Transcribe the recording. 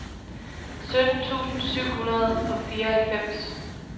sytten tusind syv hundrede og fireoghalvfems